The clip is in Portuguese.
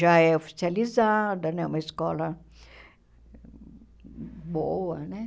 Já é oficializada né, é uma escola boa né.